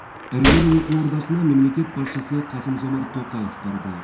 іргелі оқу ордасына мемлекет басшысы қасым жомарт тоқаев барды